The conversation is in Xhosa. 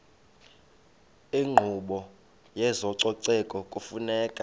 inkqubo yezococeko kufuneka